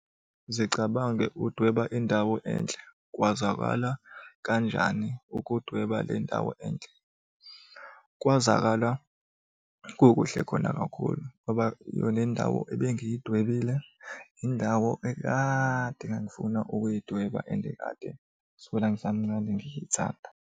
Zicabange udweba indawo enhle, kwazwakala kanjani ukudweba le ndawo enhle? Kwazwakala kukuhle khona kakhulu ngoba yona indawo ebengiyidwebile, indawo ekade ngangifuna ukuyidweba and kade kusukela ngisamncane ngithanda.